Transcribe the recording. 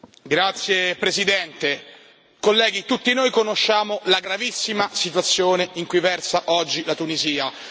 Signora Presidente, onorevoli colleghi, tutti noi conosciamo la gravissima situazione in cui versa oggi la Tunisia.